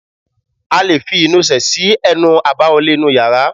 A lè fi ìnusẹ̀ sí ẹnu àbáwọlé inú yàrá